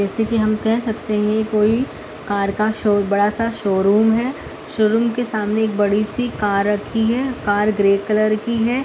जैसे कि हम कह सकते हैं कोई कार का शो बड़ा सा शोरूम है। शोरूम के सामने बड़ी सी कार रखी है। कार ग्रे कलर की है।